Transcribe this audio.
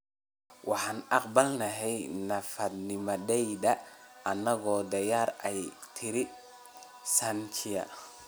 Waxaan aqbalnay naafanimadayada annagoo da 'yar, ayay tiri Sanchia.